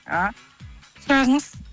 а сұрағыңыз